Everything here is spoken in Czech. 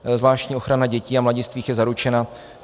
Zvláštní ochrana dětí a mladistvých je zaručena.